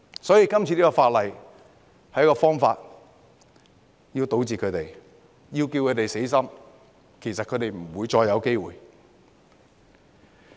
所以，《條例草案》是一個堵截他們的方法，讓他們死心，讓他們不會再有機會。